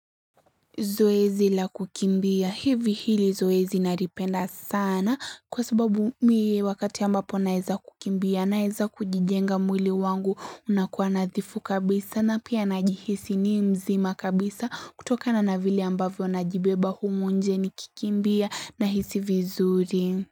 Zoezi la kukimbia. Hivi hili zoezi naripenda sana kwa sababu mi wakati ambapo naeza kukimbia naeza kujijenga mwili wangu unakuwa nathifu kabisa na pia najihisi ni mjzima kabisa kutokana na vile ambavyo najibeba humu nje nikikimbia nahisi vizuri.